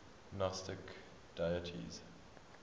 gnostic deities